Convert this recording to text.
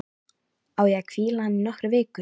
Á ég að hvíla hann í nokkrar vikur?